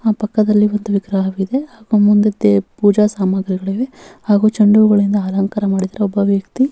ಹ ಪಕ್ಕದಲ್ಲಿ ಒಂದು ವಿಗ್ರಹ ಇದೆ ಮುಂದಕ್ಕೆ ಪೂಜಾ ಸಾಮಗ್ರಿಗಳು ಇವೆ ಹಾಗೆ ಚೆಂಡು ಹೂಗಳಿಂದ ಅಲಂಕಾರ ಮಾಡಿದ್ದಾರೆ ಒಬ್ಬ ವ್ಯಕ್ತಿ --